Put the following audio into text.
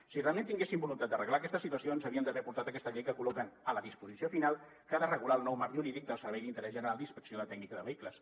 si realment tinguessin voluntat d’arreglar aquesta situació ens haurien d’haver portat aquesta llei que col·loquen a la disposició final que ha de regular el nou marc jurídic del servei d’interès general d’inspecció tècnica de vehicles